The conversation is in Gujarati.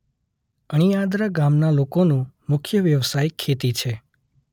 અણિયાદરા ગામના લોકોનો મુખ્ય વ્યવસાય ખેતી છે.